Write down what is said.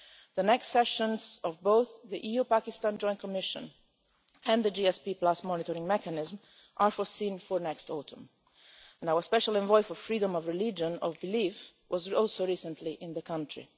The next sessions of both the EU-Pakistan Joint Commission and the GSP monitoring mechanism are foreseen for next autumn, and our special envoy for freedom of religion and of belief was also recently in the country.